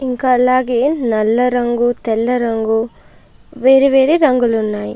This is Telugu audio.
ఇంకా అలాగే నల్ల రంగు తెల్ల రంగు వేరువేరే రంగులు ఉన్నాయి.